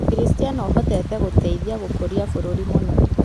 Ukristiano ũhotete gũteithia gũkũria bũrũri mũno